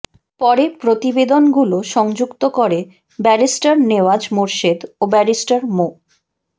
পরে প্রতিবেদনগুলো সংযুক্ত করে ব্যারিস্টার নেওয়াজ মোরশেদ ও ব্যারিস্টার মো